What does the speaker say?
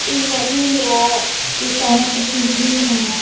इ नदी में है इ चारो पट्टी घुम रहा है।